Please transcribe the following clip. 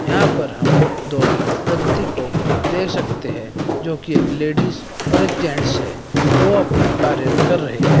यहां पर हम दो व्यक्ती को देख सकते है जो की एक लेडीज और एक जेंट्स है वो अपना कार्य कर रहे हैं।